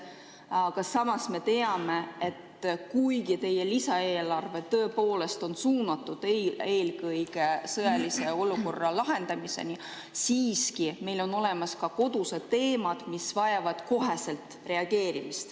Aga samas me teame, et kuigi teie lisaeelarve tõepoolest on suunatud eelkõige sõjalise olukorra lahendamisele, on meil siiski olemas ka kodused teemad, mis vajavad koheselt reageerimist.